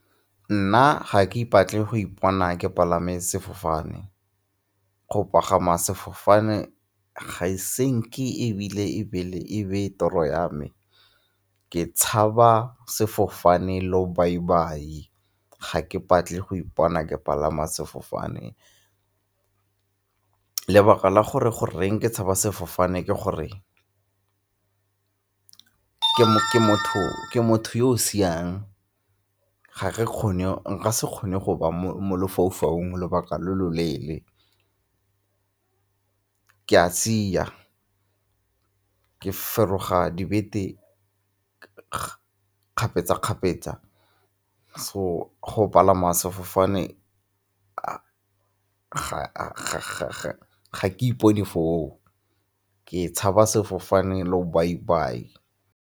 Nna ga ke ipatle go ipona ke palame sefofane. Go pagama sefofane ga e senki ebile e be le toro ya me, ke tshaba sefofane lobaibai, ga ke batle go ipona ke palame sefofane. Lebaka la gore goreng ke tshaba sefofane ke gore ke motho yo o siang, nka se kgone go ba mo lefaufaung lobaka lo lo leele ke a sia, ke feroga dibete kgapetsa-kgapetsa so go palama sefofane ga ke ipone foo, ke tshaba sefofane lobaibai.